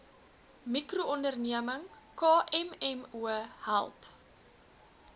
mikroonderneming kmmo help